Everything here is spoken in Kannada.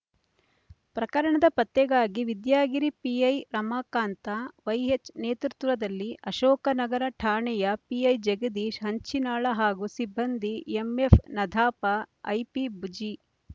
ಪ್ರಕರಣದ ಪತ್ತೆಗಾಗಿ ವಿದ್ಯಾಗಿರಿ ಪಿಐ ರಮಾಕಾಂತ ವಾಯ್ಎಚ್ ನೇತೃತ್ವದಲ್ಲಿ ಅಶೋಕನಗರ ಠಾಣೆಯ ಪಿಐ ಜಗದೀಶ್ ಹಂಚಿನಾಳ ಹಾಗೂ ಸಿಬ್ಬಂದಿ ಎಮ್ಎಪ್ ನಧಾಪಐಪಿಬುಜಿ